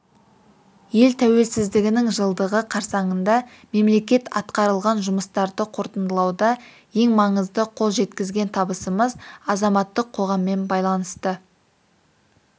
ел тәуелсіздігінің жылдығы қарсаңында мемлекет атқарылған жұмыстарды қорытындылауда ең маңызды қол жеткізген табысымыз азаматтық қоғаммен байланысты